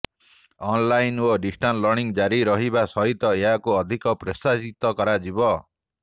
online ଓ distance learning ଜାରି ରହିବା ସହିତ ଏହାକୁ ଅଧିକ ପ୍ରୋତ୍ସାହିତ କରାଯିବ